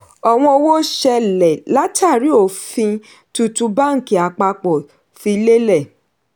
ọ̀wọ́n owó ṣẹlẹ̀ látàrí ofin tuntun bánkì àpapọ̀ fi lelẹ̀.